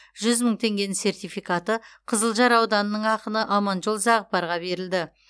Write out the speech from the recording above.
жүз мың теңгенің сертификаты қызылжар ауданының ақыны аманжол зағыпарға берілді